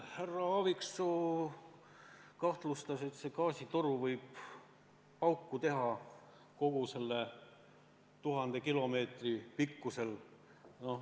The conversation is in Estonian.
Härra Aaviksoo kahtlustas, et see gaasitoru võib pauku teha kogu 1000 kilomeetri pikkuselt.